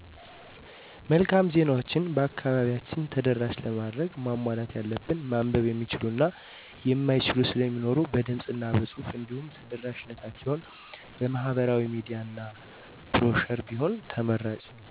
መልካም ዜናዎችን በአከባቢያችን ተደራሽ ለማድረግ ማሟላት ያለበት ማንበብ የሚችሉ እና የማይችሉ ስለሚኖሩ በድምፅ እና በፁሑፍ እንዲሁም ተደራሽነታቸውን በማህበራዊ ሚዲያ እና ብሮሸር ቢሆን ተመራጭ ነው።